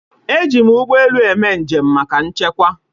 Eji m ụgbọelu eme njem maka nchekwa